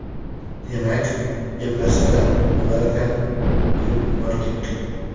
Demak, eplasa bo‘larkan, deb yubordik.